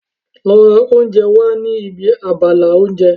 Lọ ra oúnjẹ wá ní ibi abala oúnjẹ.